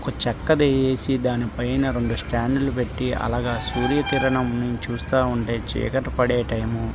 ఒక చెక్కది ఏసి దాని పైన రెండు స్టాండ్ లు పెట్టి అలాగే సూర్య కిరణం చూస్తా ఉంటే చీకటి పడే టైము --